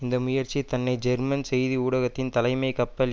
இந்த முயற்சி தன்னை ஜெர்மன் செய்தி ஊடகத்தின் தலைமை கப்பல்